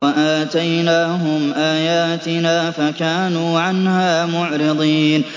وَآتَيْنَاهُمْ آيَاتِنَا فَكَانُوا عَنْهَا مُعْرِضِينَ